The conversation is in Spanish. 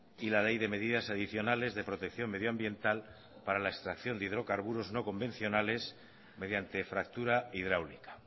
y la ley de medidas adicionales de protección medioambiental para la extracción de hidrocarburos no convencionales mediante fractura hidráulica